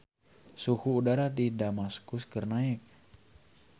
Suhu udara di Damaskus keur naek